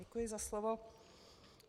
Děkuji za slovo.